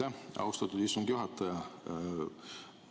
Aitäh, austatud istungi juhataja!